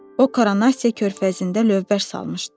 O Koronasiya körfəzində lövbər salmışdı.